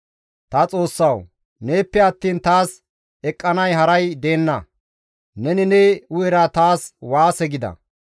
Ta Xoossawu! Neeppe attiin taas eqqanay haray deenna; neni ne hu7era taas waase gida.